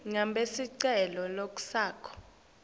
ngabe sicelo sakho